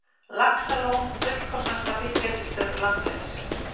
Laxalón fullkomnasta fiskeldisstöð landsins